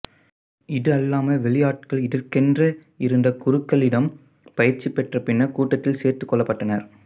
இது அல்லாமல் வெளியாட்கள் இதற்கென்று இருந்த குருக்களிடம் பயிற்சி பெற்ற பின்னர் கூட்டத்தில் சேர்த்து கொள்ள பட்டனர்